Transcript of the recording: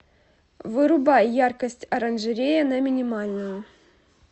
вырубай яркость оранжерея на минимальную